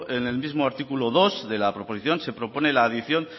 en el mismo artículo dos de la proposición se propone la adición